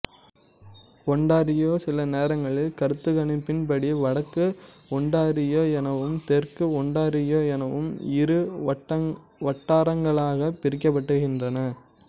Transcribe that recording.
Ontario சிலநேரங்களில் கருத்துருக்களின்படி வடக்கு ஒண்டாரியோ எனவும் தெற்கு ஒண்டாரியோ எனவும் இரு வட்டாரங்களாகப் பிரிக்கப்படுகின்றன